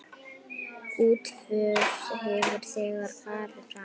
Útför hefur þegar farið fram.